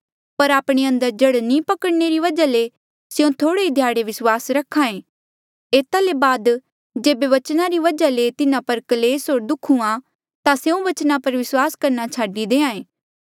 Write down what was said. पर आपणे अंदर जड़ नी पकड़णने री वजहा ले स्यों थोह्ड़े ही ध्याड़े विस्वास रख्हा ऐें एता ले बाद जेबे बचना री वजहा ले तिन्हा पर क्लेस होर दुःख हुंहां ता स्यों बचना पर विस्वास करणा छाडी देहां ऐें